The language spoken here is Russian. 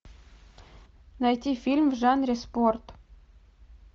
найти фильм в жанре спорт